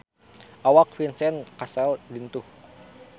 Awak Vincent Cassel lintuh